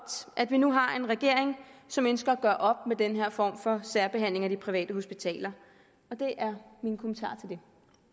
at vi nu har en regering som ønsker at gøre op med denne form for særbehandling af de private hospitaler det